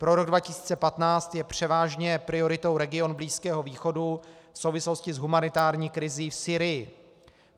Pro rok 2015 je převážně prioritou region Blízkého východu v souvislosti s humanitární krizí v Sýrii.